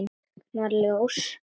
Jú, nú kviknar ljós.